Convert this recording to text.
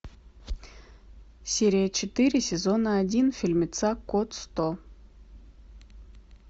серия четыре сезона один фильмеца код сто